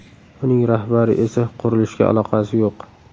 Uning rahbari esa qurilishga aloqasi yo‘q.